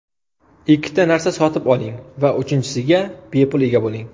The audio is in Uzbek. Ikkita narsa sotib oling va uchinchisiga bepul ega bo‘ling.